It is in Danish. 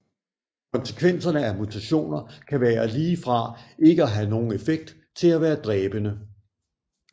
Konsekvenserne af mutationer kan være lige fra ikke at have nogen effekt til at være dræbende